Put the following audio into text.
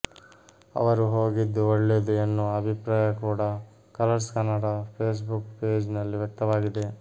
ಅವರು ಹೋಗಿದ್ದು ಒಳ್ಳೇದು ಎನ್ನುವ ಅಭಿಪ್ರಾಯ ಕೂಡ Colors Kannada Facebook page ನಲ್ಲಿ ವ್ಯಕ್ತವಾಗಿದೆ